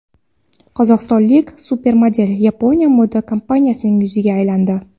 Qozog‘istonlik supermodel Yaponiya moda kompaniyasining yuziga aylandi.